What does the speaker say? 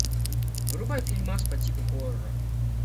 врубай фильмас по типу хоррора